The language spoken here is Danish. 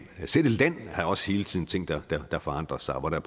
har også hele tiden ting der forandrer sig og hvor der